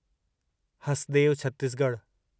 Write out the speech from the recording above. Hasdeo Chhattisgarh